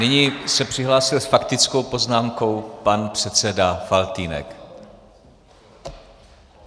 Nyní se přihlásil s faktickou poznámkou pan předseda Faltýnek.